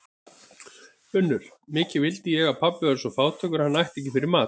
UNNUR: Mikið vildi ég hann pabbi væri svo fátækur að hann ætti ekki fyrir mat.